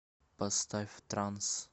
поставь транс